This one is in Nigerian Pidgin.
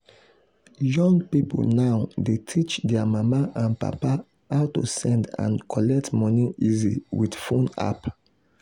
young people now dey teach their mama and papa how to send and collect money easy with phone app.